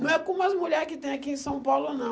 Não é como as mulheres que tem aqui em São Paulo, não.